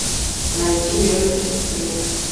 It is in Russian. найди ленту сестры